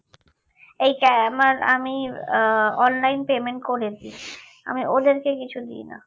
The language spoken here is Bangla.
এইটা আমার আমি আহ online payment করে দি আমি ওদেরকে কিছু দিই না